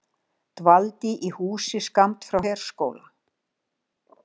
Dvaldi í húsi skammt frá herskóla